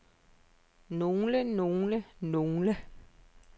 nogle nogle nogle